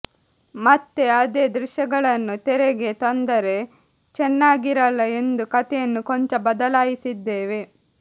ಮತ್ತೆ ಅದೇ ದೃಶ್ಯಗಳನ್ನು ತೆರೆಗೆ ತಂದರೆ ಚೆನ್ನಾಗಿರಲ್ಲ ಎಂದು ಕತೆಯನ್ನು ಕೊಂಚ ಬದಲಾಯಿಸಿದ್ದೇವೆ